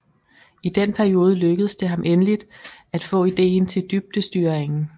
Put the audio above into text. I den periode lykkedes det ham endelig at få ideen til dybdestyringen